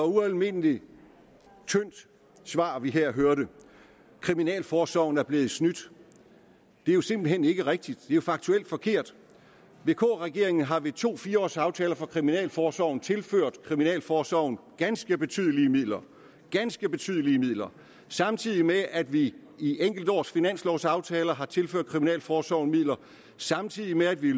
ualmindelig tyndt svar vi her hørte kriminalforsorgen er blevet snydt det er simpelt hen ikke rigtigt det jo faktuelt forkert vk regeringen har ved to fire års aftaler for kriminalforsorgen tilført kriminalforsorgen ganske betydelige midler ganske betydelige midler samtidig med at vi i enkeltårsfinanslovaftaler har tilført kriminalforsorgen midler samtidig med at vi